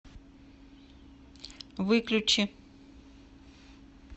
выключи